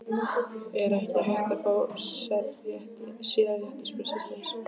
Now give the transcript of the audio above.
Er ekki hægt að fá sérrétti, spurði systir hans.